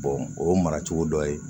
o ye mara cogo dɔ ye